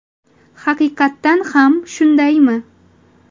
Haqiqatan ham shundaymi?